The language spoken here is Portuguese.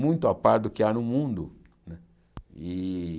muito a par do que há no mundo. Né e